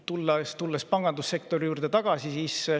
Tulen nüüd pangandussektori juurde tagasi.